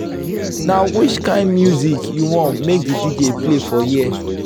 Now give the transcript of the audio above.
na which kain music you want make dj play for here.